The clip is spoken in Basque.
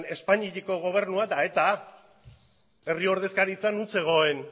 eta espainiako gobernua eta eta herri ordezkaritza non zegoen